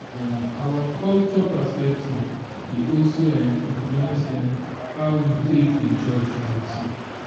um our cultural perspective dey also um influence um how we take dey judge beauty